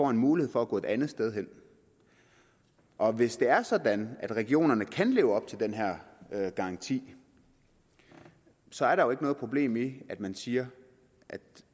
en mulighed for at gå et andet sted hen og hvis det er sådan at regionerne kan leve op til den her garanti så er der jo ikke noget problem i at man siger at